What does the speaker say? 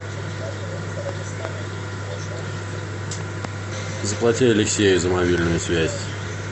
заплати алексею за мобильную связь